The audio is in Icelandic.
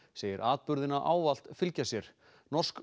segir atburðina ávallt fylgja sér norsk